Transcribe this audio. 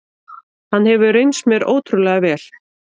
Hann hefur reynst mér ótrúlega vel.